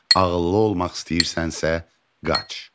Ağıllı olmaq istəyirsənsə, qaç.